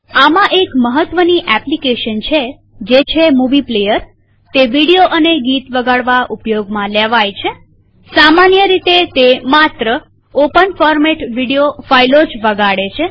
આમાં એક મહત્વની એપ્લીકેશન છે જે છેમુવી પ્લેઅરતે વિડીયો અને ગીત વગાડવા ઉપયોગમાં લેવાય છેસામાન્ય રીતે તે માત્ર ઓપન ફોરમેટ વિડીયો ફાઈલો જ વગાડે છે